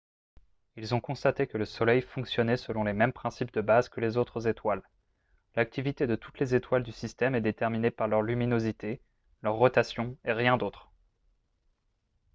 ils ont constaté que le soleil fonctionnait selon les mêmes principes de base que les autres étoiles l'activité de toutes les étoiles du système est déterminée par leur luminosité leur rotation et rien d'autre